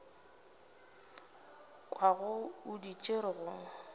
kwago o di tšere go